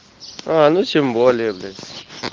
а ну тем более блять